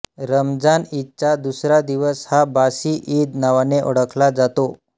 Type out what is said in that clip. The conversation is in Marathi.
रमजान ईदचा दुसरा दिवस हा बासी ईद नावाने ओळखला जातो